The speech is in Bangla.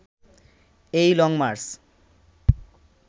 এই লংমার্চ